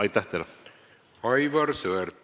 Aivar Sõerd, palun!